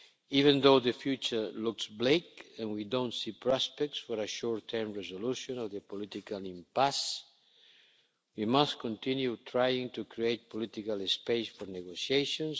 Even though the future looks bleak, and we don't see prospects for a short term resolution of the political impasse, we must continue trying to create political space for negotiations.